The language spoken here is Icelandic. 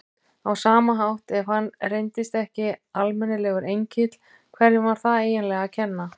Á sama hátt, ef hann reyndist ekki almennilegur engill, hverjum var það eiginlega að kenna?